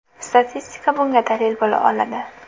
Statistika bunga dalil bo‘la oladi.